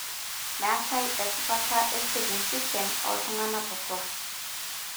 meetae esipata e staging system oltungana botoro, AML.